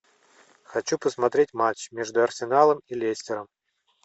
хочу посмотреть матч между арсеналом и лестером